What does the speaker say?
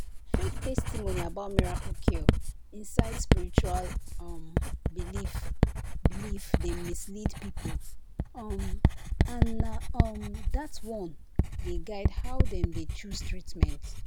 fake testimony about miracle cure inside spiritual um belief belief dey mislead people um and na um that one dey guide how dem dey choose treatment."